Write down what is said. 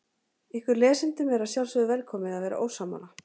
Ykkur lesendum er að sjálfsögðu velkomið að vera ósammála.